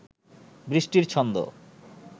বৃষ্টির ছন্দ